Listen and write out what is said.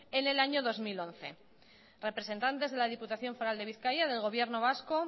en el año dos mil once representantes de la diputación foral de bizkaia del gobierno vasco